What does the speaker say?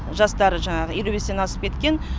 жастары елу бестен асып кеткен